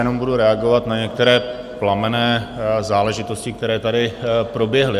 Jenom budu reagovat na některé plamenné záležitosti, které tady proběhly.